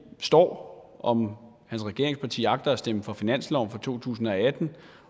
står om hans regeringsparti agter at stemme for finansloven for to tusind og atten